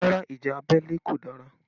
Rárá ìjà abẹ́lé kò dára